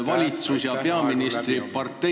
Aitäh-aitäh!